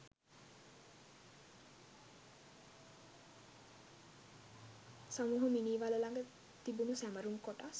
සමූහ මිනී වළ ළඟ තිබුණු සැමරුම් කොටස්